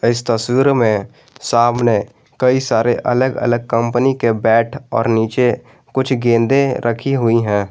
इस तस्वीर में सामने कई सारे अलग अलग कंपनी के बैट और नीचे कुछ गेंदे रखी हुई हैं।